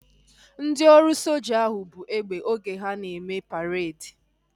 Ndị ọrụ soja ahu buu egbe oge ha na-eme paredi